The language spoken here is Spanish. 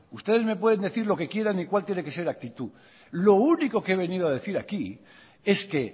ustedes me pueden decir lo que quieran y cuál tiene que ser la actitud lo único que he venido a decir aquí es que